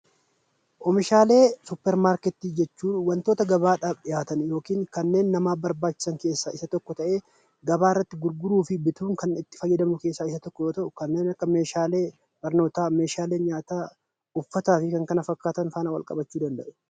Oomishaalee suppeer markeeti jechuun wantoota gabaadhaaf dhi'aatan yookiin kanneen namaaf barbaachiisan keessa isa tokko ta'e, gabarratti gurguruufi bitu kan itti fayyadamnu keessa isa tokko yoo ta'u, kanneen akka meeshaalee barnoota, meeshaalee nyaata, uffataa fi kan kana fakkatan faana wal-qabachuu danda'u.